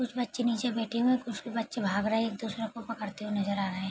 कुछ बच्चे नीचे बैठे हुए कुछ बच्चे भाग रहे एक दुसरे को पकड़ते हुए नजर आ रहें।